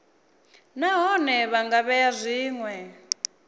nahone vha nga vhea zwinwe